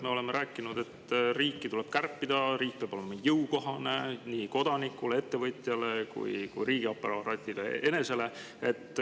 Me ju oleme rääkinud, et riiki tuleb kärpida, riik peab olema jõukohane nii kodanikule, ettevõtjale kui ka riigiaparaadile enesele.